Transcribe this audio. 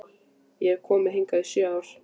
Ég hef ekki komið hingað í sjö ár